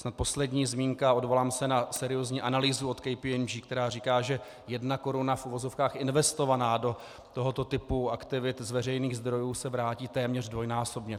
Snad poslední zmínka, odvolám se na seriózní analýzu od KPMG, která říká, že jedna koruna v uvozovkách investovaná do tohoto typu aktivit z veřejných zdrojů se vrátí téměř dvojnásobně.